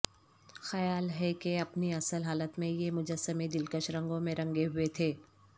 خیال ہے کہ اپنی اصل حالت میں یہ مجسمے دلکش رنگوں میں رنگے ہوئے تھے